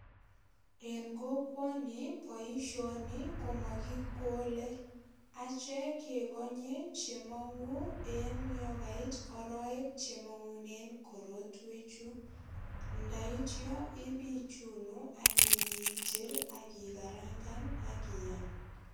En kokwoni, boisioni komakikole. Achek kekonye che mongu en yo kait arowek che mangune korotwechu. Ndaityo ipichunu ak ipiitil ak ikakarangan ak iyam.